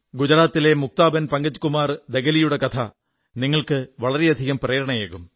ഗുജറാത്തിലെ മുക്താബെൻ പങ്കജ്കുമാർ ദഗലിയുടെ കഥ നിങ്ങൾക്ക് വളരെയധികം പ്രേരണയേകും